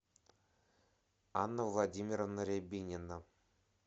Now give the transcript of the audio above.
анна владимировна рябинина